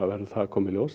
að koma í ljós